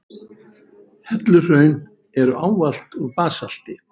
Helluhraun eru ávallt úr basalti.